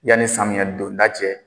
Yanni samiyan donda cɛ.